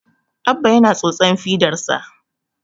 Abba yana tsotsan fidarsa